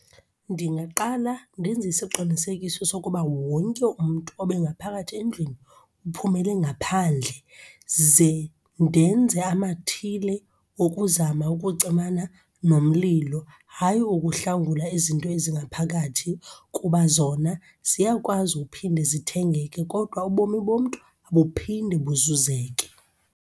Ndingaqala ndenze isiqinisekiso sokuba wonke umntu obengaphakathi endlwini uphumele ngaphandle. Ze ndenze amathile okuzama ukucimana nomlilo, hayi ukuhlangula izinto ezingaphakathi kuba zona ziyakwazi uphinde zithengeke. Kodwa ubomi bomntu abuphinde buzuzeke.